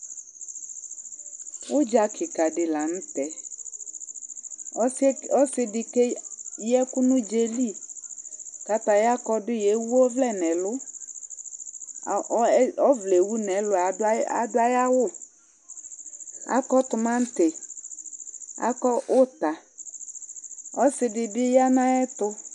ʊdja kïka lanutɛ ɔssidi kéyạkũ nu djali kataya kɔdui éwɔvlẽ nɛlu ɔvlɛ ewu nelue aduayau akɔ tumatï akɔ uta ɔssi dibi ya naetu